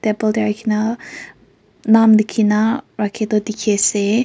table teh rakhina naam likina rakhi toh dikhi ase.